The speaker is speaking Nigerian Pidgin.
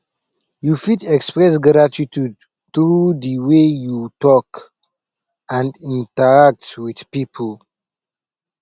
you fit express gratitude through di way you talk and interact with people